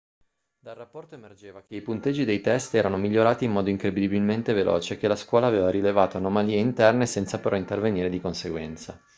dal rapporto emergeva che i punteggi dei test erano migliorati in modo incredibilmente veloce e che la scuola aveva rilevato anomalie interne senza però intervenire di conseguenza